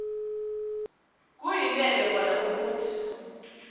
kuyinene kona ukuthi